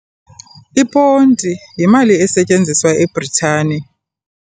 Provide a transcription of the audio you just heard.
Iponti yimali esetyenziswa eBritani.